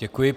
Děkuji.